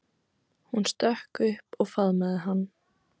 Hún stökk upp og faðmaði hann.